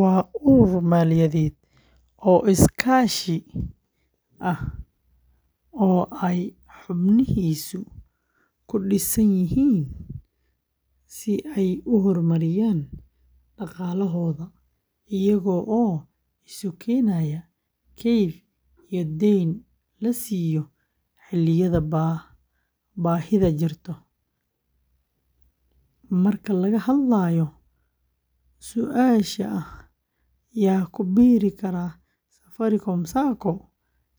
Waa urur maaliyadeed oo iskaashi ah oo ay xubnihiisu ku midaysan yihiin si ay u horumariyaan dhaqaalahooda iyagoo isu keenaya kayd iyo deyn la siiyo xilliyada baahida jirto. Marka laga hadlayo su’aasha ah "yaa ku biiri kara Safaricom Sacco?",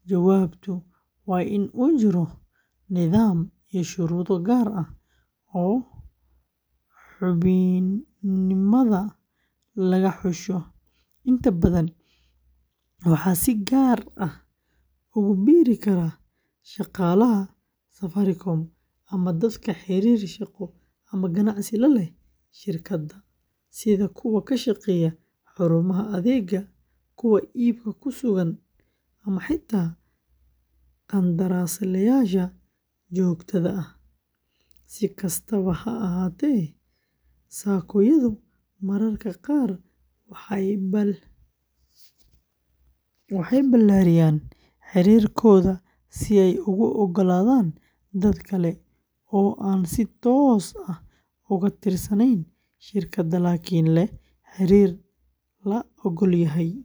jawaabtu waa in uu jiro nidaam iyo shuruudo gaar ah oo xubinnimada lagu xusho. Inta badan, waxaa si gaar ah ugu biiri kara shaqaalaha Safaricom ama dadka xiriir shaqo ama ganacsi la leh shirkadda, sida kuwa ka shaqeeya xarumaha adeegga, kuwa iibka ku sugan, ama xitaa qandaraaslayaasha joogtada ah. Si kastaba ha ahaatee, Sacco-yadu mararka qaar waxay balaadhiyaan xeerarkooda si ay ugu oggolaadaan dad kale oo aan si toos ah uga tirsanayn shirkadda laakiin leh xiriir la oggol yahay.